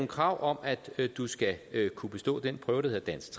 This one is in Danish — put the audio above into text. krav at du skal kunne bestå den prøve der hedder dansk